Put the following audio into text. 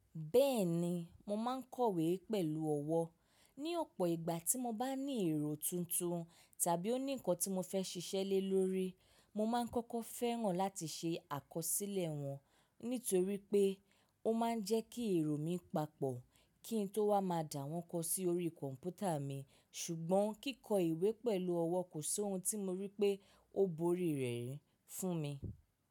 Bẹ́ẹ̀ni, mo máa ń kọ̀wé pẹ̀lú ọwọ́. Ni ọ̀pọ̀ ìgbà tí mo bá ní èrò tuntun tàbí ó ní nǹkan tí mo fẹ́ ṣiṣẹ́ le lórí, mo máa ń kọ́kọ́ fẹ́ mo láti ṣe àkọsílẹ̀ wọn nítorí pé ó máa ń jẹ́ kí èrò mi papọ̀ kí n tó wá máa dà wọ́n kọ sí orí kọ̀m̀pútà mi. Ṣùgbọ́n kíkọ ìwé pẹ̀lú ọwọ́ kò ṣi ohun tí mo rí pé ó borí rẹ̀ fún mi.